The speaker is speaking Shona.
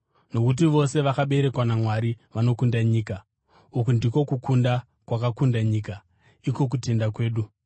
nokuti vose vakaberekwa naMwari vanokunda nyika. Uku ndiko kukunda kwakakunda nyika, iko kutenda kwedu.